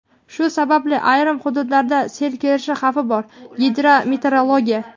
Shu sababli ayrim hududlarga sel kelishi xavfi bor – "Gidrometeorologiya".